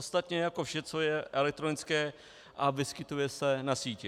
Ostatně jako vše, co je elektronické a vyskytuje se na síti.